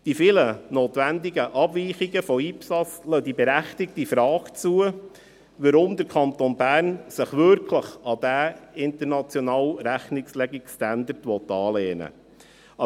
Die vielen notwendigen Abweichungen von IPSAS lassen die berechtigte Frage zu, weshalb der Kanton Bern sich wirklich an diesen internationalen Rechnungslegungsstandard anlehnen will.